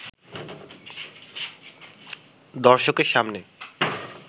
দর্শকের সামনে